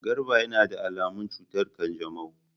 Garba yana da alamun cutar kanjamau.